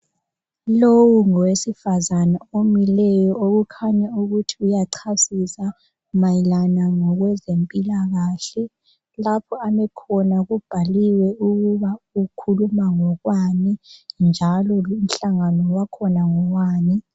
lowu ngowesifazana omileyo okukhanya ukuthi uyacasisa mayelana ngokwezempilakahle lapha ame khona kubhaliwe ukuthi ukhuluma ngokwani njalo lumhlangano wakhona ngowani